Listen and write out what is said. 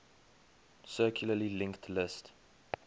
circularly linked list